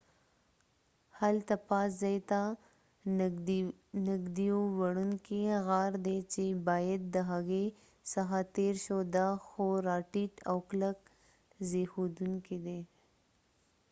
هلته پاس ځای ته نږدېیو وړنکې غار دي چې باید د هغې څخه تیر شو دا خورا ټیټ او کلک زبیښونکې دي